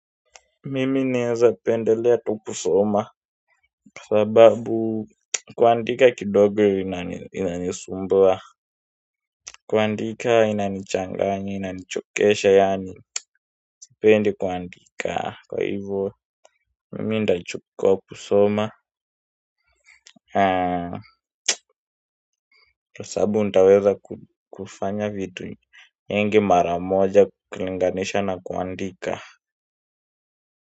Mimi neweza pendelea tu kusoma kwa sababu kuandika kidogo inani sumbuwa kuandika inani changanya inani chokesha yaani sipendi kuandika kwa hivyo mimi nitachukuwa kusoma. Haa sababu nitaweza kufanya vitu nyingi mara moja kulinganisha na kuandika kwa hivyo.